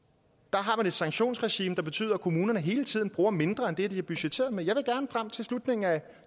har man et sanktionsregime som betyder at kommunerne hele tiden bruger mindre end det de har budgetteret med jeg vil gerne frem til slutningen af